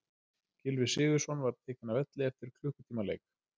Gylfi Sigurðsson var tekinn af velli eftir klukkutíma leik.